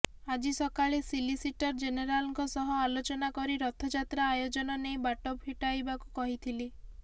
ଆଜି ସକାଳେ ସଲିସିଟର ଜେନେରାଲଙ୍କ ସହ ଆଲୋଚନା କରି ରଥ ଯାତ୍ରା ଆୟୋଜନ ନେଇ ବାଟ ଫିଟାଇବାକୁ କହିଥିଲି